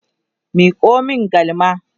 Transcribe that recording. Miko min galma!